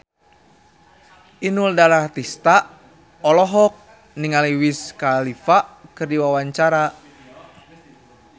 Inul Daratista olohok ningali Wiz Khalifa keur diwawancara